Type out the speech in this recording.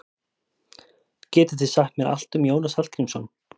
Getið þið sagt mér allt um Jónas Hallgrímsson?